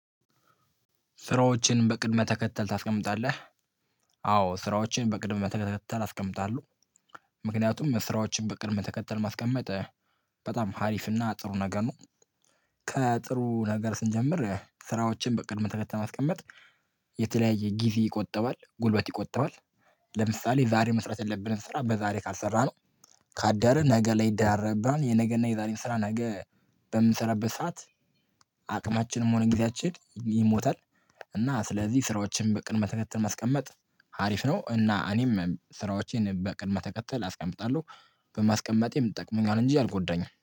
ስራዎችን በቅድመ ተከተል ታስቀምጣለህ? አዎ ስራዎችን በቅድመ ተከተል አስቀምጣለሁ፤ ምክንያቱም መስራቶችን በቅድመ ተከተል ማስቀመጥ በጣም ሀሪፍ እና ጥሩ ነገ ነው ከጥሩ ነገር ስንጀምር ስራዎችን በቅድመ ተከተል ማስቀመጥ የተለያየ ጊዜ ይቆጠባል፤ ጉልበት ይቆጠባል፤ ለምሳሌ ዛሬ መስራት የለብንም ስራ በዛሬ ካልሰራነው ካዳርን ነገ ላይ ይደራረብብናል የነገና የዛሬን ስራ ነገ በምንሰራበት ሰዓት አቅማችንም ሆነ ጊዜያችን ይሞታል እና ስለዚህ ስራዎችን በቅድመ ተከተል ማስቀመጥ ሀሪፍ ነው እና እኔም ስራዎቼን በቅድመ ተከተል አስቀምጣለሁ። በማስቀመጤም ትጠቅመኛለህ እንጂ አልጎዳኝም